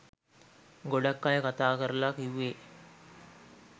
ගොඩක් අය කතා කරලා කිව්වේ